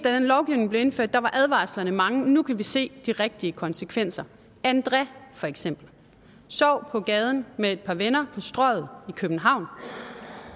her lovgivning blev indført var advarslerne mange og nu kan vi se de rigtige konsekvenser andré for eksempel sov på gaden med et par venner på strøget i københavn